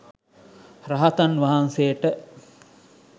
රහතන්වහන්සේට